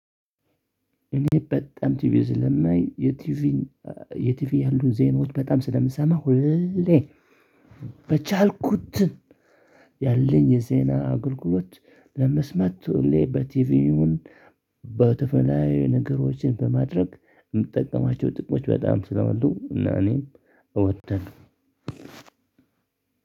እኔ በጣም ቲቪ ስለማይ የቲቪ የቲቪ ያሉን ዜኖች በጣም ስለምሰማው ሁሌ። በቻልኩት ያለኝ የዜና አጉልጉሎት ለምስማት ሁሌ በቲቪውን። በተፈለጋዊ ነገሮችን በማድረግ የምትጠቀማቸው ጥቅሞች በጣም ስላሉ እና እኔም ኦወዳለሁ።